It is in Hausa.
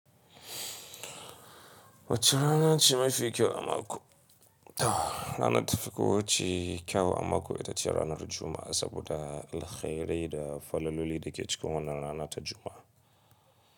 Wacce rana ce mafi kyau a mako? Ranan da ta fi kowacce kyau a mako ita ce ranar Juma'a, saboda alkhairai da falaloli da ke cika wannan rana ta Juma'a.